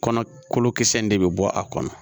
Kɔnɔ kolokisɛ in de bɛ bɔ a kɔnɔ